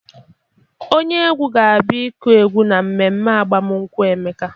Onye egwu ga-abịa ịkụ egwu na mmemme agbamnkwụ Emeka.